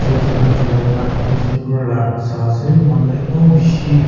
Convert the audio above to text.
khan chulaikena newspaper la sai ase manu khan ekdom bishi.